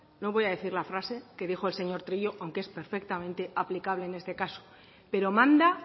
no voy a decir la frase que dijo el señor trillo pero es perfectamente aplicable en este caso pero manda